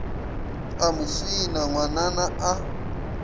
a mo swina ngwanana a